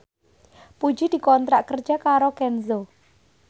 Puji dikontrak kerja karo Kenzo